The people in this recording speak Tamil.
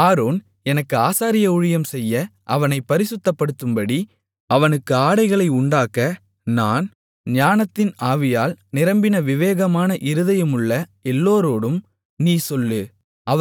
ஆரோன் எனக்கு ஆசாரிய ஊழியம் செய்ய அவனைப் பரிசுத்தப்படுத்தும்படி அவனுக்கு ஆடைகளை உண்டாக்க நான் ஞானத்தின் ஆவியால் நிரப்பின விவேகமான இருதயமுள்ள எல்லாரோடும் நீ சொல்லு